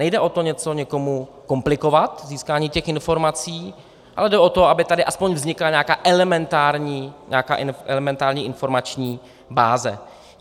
Nejde o to něco někomu komplikovat, získání těch informací, ale jde o to, aby tady alespoň vznikla nějaká elementární informační báze.